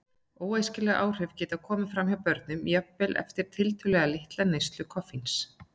Óæskileg áhrif geta komið fram hjá börnum jafnvel eftir tiltölulega litla neyslu koffíns.